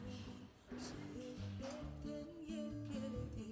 сүйеді беттен еркелете